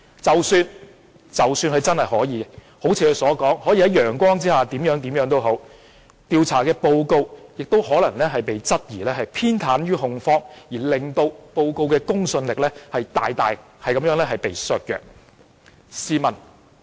即使他真的如他所言，可以在陽光下怎樣怎樣，調查報告亦可能被質疑偏袒控方而令報告的公信力大大削弱。